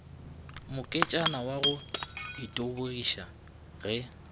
moketšana wa go itebogiša ge